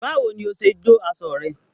Báwo ni o ṣe jó aṣọ rẹ?